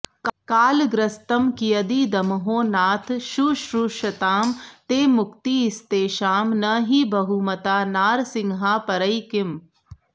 कालग्रस्तं कियदिदमहो नाथ शुश्रूषतां ते मुक्तिस्तेषां न हि बहुमता नारसिंहापरैः किम्